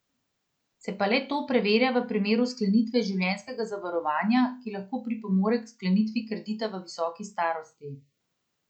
Se pa le to preverja v primeru sklenitve življenjskega zavarovanja, ki lahko pripomore k sklenitvi kredita v visoki starosti.